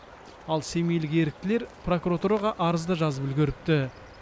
ал семейлік еріктілер прокуратураға арыз да жазып үлгеріпті